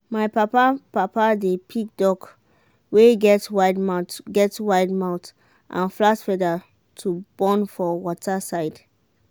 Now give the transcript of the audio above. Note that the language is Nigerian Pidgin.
my papa-papa dey pick duck wey get wide mouth get wide mouth and flat feather to born for water side.